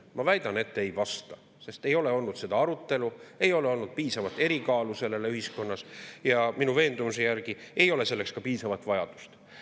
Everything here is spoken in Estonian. Ma väidan, et ei vasta, sest ei ole olnud seda arutelu, sellel ei ole olnud ühiskonnas piisavalt erikaalu ja minu veendumuse järgi ei ole selleks ka piisavalt vajadust.